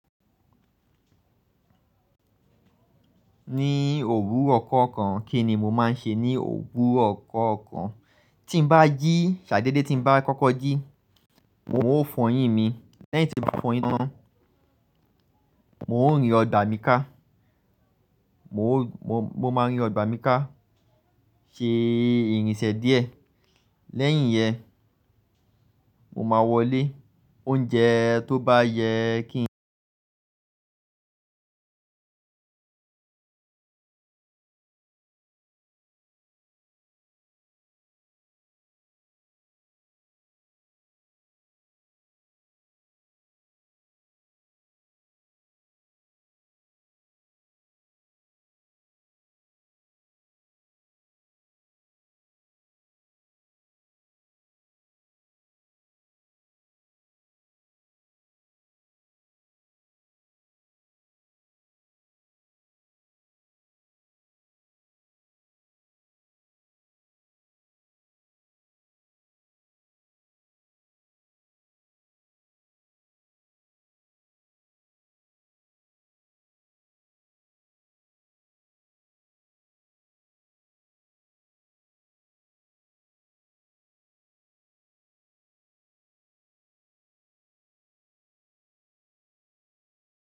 Ní òru ọkọ kan, kí ni mo máa ń ṣe? Ní òru ko kan, tí n bá jí, ṣade de tí n bá kọ́kọ́ jí, u ò fọyín mi. Lẹ́yìn tí mo bá fọyín tán, mo ń rìn ọgbà mi ká. Mo máa ń rìn ọgbà mi ká, ṣe irinṣẹ́ díẹ̀. Lẹ́yìn yẹn, mo máa wọlé. Oúnjẹ tó bá yẹ kí n jẹ.